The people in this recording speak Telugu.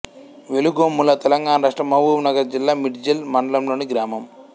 వెలుగొమ్ములతెలంగాణ రాష్ట్రం మహబూబ్ నగర్ జిల్లా మిడ్జిల్ మండలంలోని గ్రామం